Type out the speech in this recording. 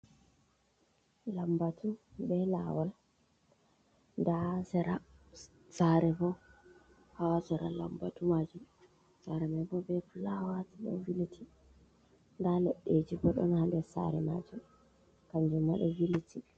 Laɓɓatu ɓe lawal ɗa sera sare bo ha sera lamɓatu majum sare mai ɓo ɓe flawati ɗo viliti ɗa leɗɗeji ɓo don hanɗer sare majum kanjum ma ɗo viliti.